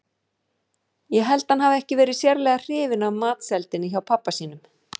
Ég held að hann hafi ekki verið sérlega hrifinn af matseldinni hjá pabba sínum.